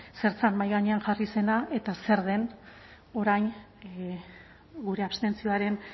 zer zen mahai gainean jarri zena eta zer den orain gure abstentzioaren